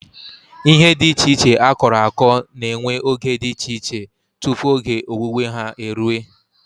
Ihe dị iche iche akọrọ akọ na-ewe oge dị iche iche tupu oge owuwe ha eruo.